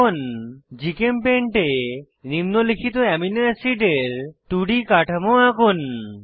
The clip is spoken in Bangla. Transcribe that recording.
এখন জিচেমপেইন্ট এ নিম্নলিখিত অ্যামিনো অ্যাসিডের 2ডি কাঠামো আঁকুন